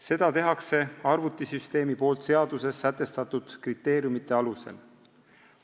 Seda teeb arvutisüsteem seaduses sätestatud kriteeriumide alusel.